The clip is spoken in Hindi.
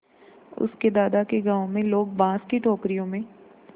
उसके दादा के गाँव में लोग बाँस की टोकरियों में